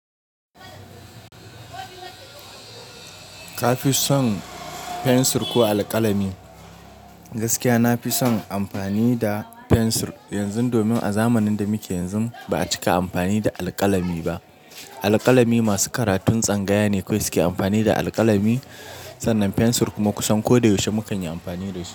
Ka fi son fensir ko alkalami? Gaskiya na fi son amfani da fensir. Yanzu domin a zamanin da muke yanzu ba a cika amfani da alkalami ba. Alkalami masu karatun tsangaya ne kawai suke amfani da alkalami. Sannan fensir kuma kusan ko da yaushe mukan yi amfani da shi.